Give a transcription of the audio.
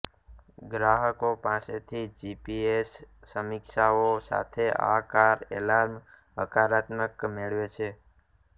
ગ્રાહકો પાસેથી જીપીએસ સમીક્ષાઓ સાથે આ કાર એલાર્મ હકારાત્મક મેળવે છે